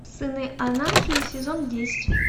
сыны анархии сезон десять